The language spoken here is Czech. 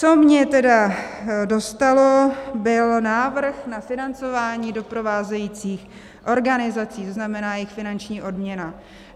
Co mě tedy dostalo, byl návrh na financování doprovázejících organizací, to znamená jejich finanční odměna.